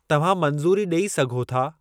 तव्हां मंज़ूरी ॾेई सघो था?